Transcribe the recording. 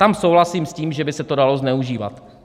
Tam souhlasím s tím, že by se to dalo zneužívat.